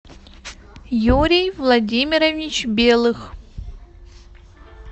юрий владимирович белых